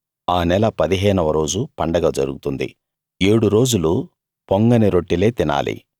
ఆ నెల 15 వ రోజు పండగ జరుగుతుంది ఏడు రోజులు పొంగని రొట్టెలే తినాలి